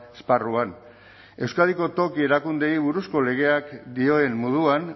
esparruan euskadiko toki erakundeei buruzko legeak dioen moduan